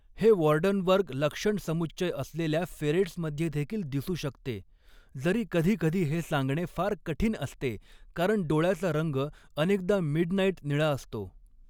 हे वॉर्डनबर्ग लक्षणसमुच्चय असलेल्या फेरेट्समध्ये देखील दिसू शकते, जरी कधीकधी हे सांगणे फार कठीण असते कारण डोळ्याचा रंग अनेकदा मिडनाईट निळा असतो.